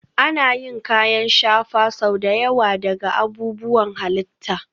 Ana yin kayan shafa sau da yawa daga abubuwan halitta